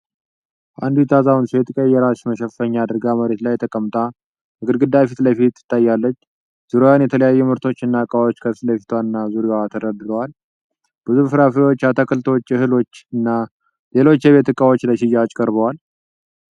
አንዲት አዛውንት ሴት ቀይ የራስ መሸፈኛ አድርጋ መሬት ላይ ተቀምጣ ከግድግዳ ፊት ለፊት ትታያለች። ዙሪያዋን የተለያዩ ምርቶችና ዕቃዎች ከፊት ለፊቷ እና ዙሪያዋ ተደርድረዋል። ብዙ ፍራፍሬዎች፣ አትክልቶች፣ እህሎች እና ሌሎች የቤት እቃዎች ለሽያጭ ቀርበዋል።